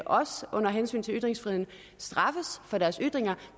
også under henvisning til ytringsfriheden straffes for deres ytringer